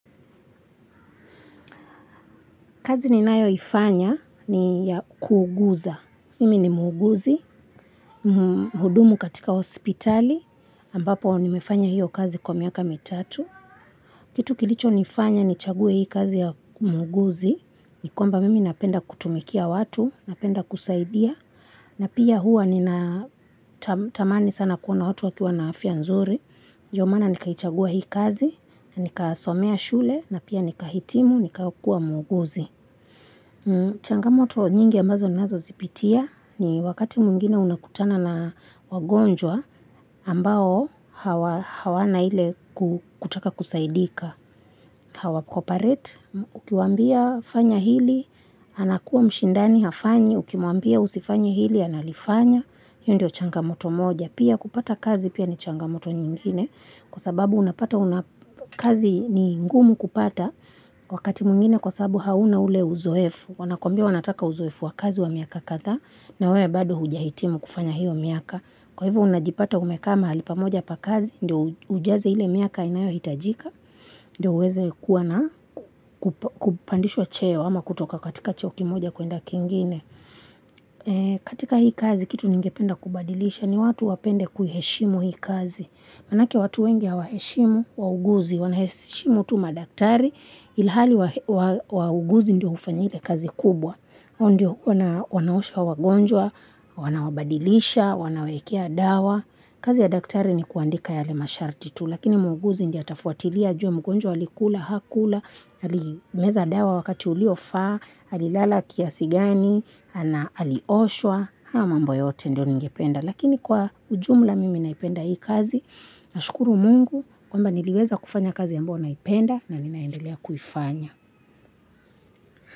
Kazi ninayo ifanya ni ya kuuguza mimi ni muguzi mhudumu katika hospitali ambapo nimefanya hiyo kazi kwa miaka mitatu kitu kilicho nifanya nichague hii kazi ya muhuguzi nikwamba mimi napenda kutumikia watu napenda kusaidia na pia huwa nina tamani sana kuona hotu wakiwa na afya nzuri ndomana nikaichagua hii kazi nikasomea shule napia nikahitimu nikahitimu nikakuwa muhuguzi changamoto nyingi ambazo nazo zipitia ni wakati mwingine unakutana na wagonjwa ambao hawana ile kutaka kusaidika hawa cooperate ukiwambia fanya hili anakuwa mshindani hafanyi ukiwambia usifanye hili analifanya hiyo ndio changamoto moja Pia kupata kazi pia ni changamoto nyingine kwasababu unapata kazi ni ngumu kupata wakati mwngine kwasababu hauna ule uzoefu wanakwmbia wanataka uzoefu wa kazi wa miaka kadhaa nawewe bado hujahitimu kufanya hiyo miaka kwahivyo unajipata umeeka mahalipamoja pa kazi ndio ujaze hile miaka inayo hitajika ndio uweze kuwa na kupandishwa cheo ama kutoka katika cheo kimoja kuenda kingine katika hii kazi kitu ningependa kubadilisha ni watu wapende kuiheshimu hii kazi Manake watu wengi hawaheshimu wahuguzi wanaheshimu tu madaktari ilihali wahuguzi ndio ufanyika kazi kubwa ondio wanaosha wagonjwa wanawabadilisha wanawaekea dawa kazi ya daktari ni kuandika yale masharti tu lakini muhuguzi ndia atafuatilia ajue mgonjwa alikula hakula alimeza dawa wakati ulio faa alilala kiasi gani ana alioshwa haya mambo yote ndio ningependa lakini kwa ujumla mimi naipenda hii kazi na shukuru mungu kwamba niliweza kufanya kazi ambayo naipenda na ninaendelea kuifanya.